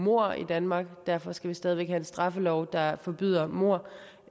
mord i danmark men derfor skal vi stadig væk have en straffelov der forbyder mord